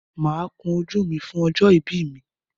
Máa kun ojú mi fún ọjọ́ ìbí mi.